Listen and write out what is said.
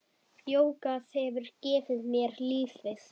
Jógað hefur gefið mér lífið.